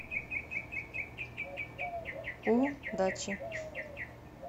у дачи